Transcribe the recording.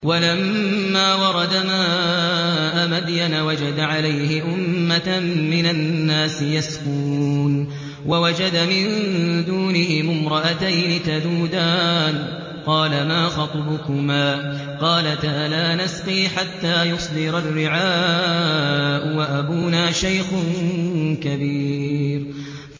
وَلَمَّا وَرَدَ مَاءَ مَدْيَنَ وَجَدَ عَلَيْهِ أُمَّةً مِّنَ النَّاسِ يَسْقُونَ وَوَجَدَ مِن دُونِهِمُ امْرَأَتَيْنِ تَذُودَانِ ۖ قَالَ مَا خَطْبُكُمَا ۖ قَالَتَا لَا نَسْقِي حَتَّىٰ يُصْدِرَ الرِّعَاءُ ۖ وَأَبُونَا شَيْخٌ كَبِيرٌ